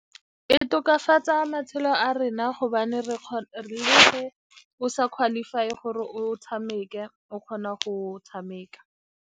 E tokafatsa matshelo a rona gobane le ge o sa qualify-e gore o tshameke, o kgona go tshameka.